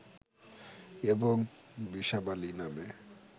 এবং বিসাবালি নামে